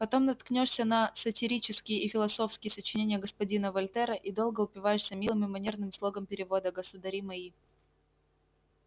потом наткнёшься на сатирические и философские сочинения господина вольтера и долго упиваешься милым и манерным слогом перевода государи мои